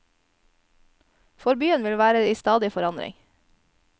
For byen vil være i stadig forandring.